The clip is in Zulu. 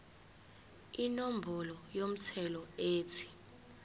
inombolo yomthelo ethi